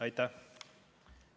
Aitäh!